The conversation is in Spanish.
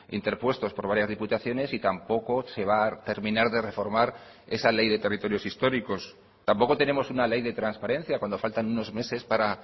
interpuestos por varias diputaciones y tampoco se va a terminar de reformar esa ley de territorios históricos tampoco tenemos una ley de transparencia cuando faltan unos meses para